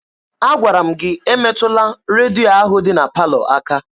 Agwara m gị emetụla redio ahụ dị na palọ aka!